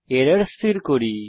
error স্থির করি